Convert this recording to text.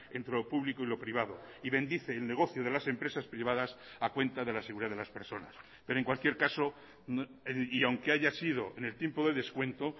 entre lo público y lo privado y bendice el negocio de las empresas privadas a cuenta de la seguridad de las personas pero en cualquier caso y aunque haya sido en el tiempo de descuento